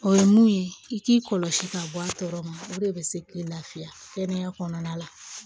O ye mun ye i k'i kɔlɔsi ka bɔ a tɔɔrɔ ma o de bɛ se k'i lafiya kɛnɛya la